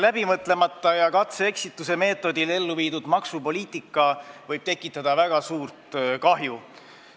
Läbimõtlemata ning katse ja eksituse meetodil elluviidud maksupoliitika võib tekitada väga suurt kahju.